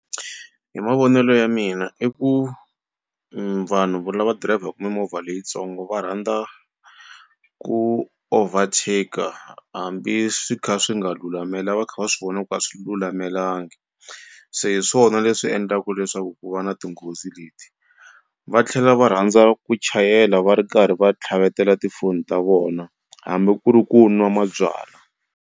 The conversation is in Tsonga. Hi mavonelo ya mina i ku vanhu lava dirayivhaka mimovha leyitsongo va rhandza ku overtak-a hambi swi kha swi nga lulamela va kha va swi vona ku a swi lulamelangi se hi swona leswi endlaku leswaku ku va na tinghozi leti va tlhela va rhandza ku chayela va ri karhi va tlhavetela tifoni ta vona hambi ku ri ku nwa mabyalwa.